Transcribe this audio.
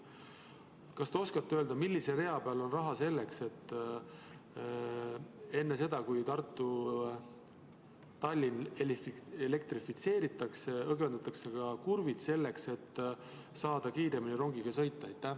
Kas te oskate öelda, millise rea peal on raha selleks, et enne seda, kui Tallinna–Tartu raudtee elektrifitseeritakse, õgvendatakse ka kurvid, et saaks kiiremini rongiga sõita?